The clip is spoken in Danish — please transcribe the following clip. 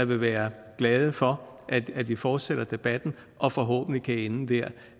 vil være glade for at vi fortsætter debatten og forhåbentlig kan ende der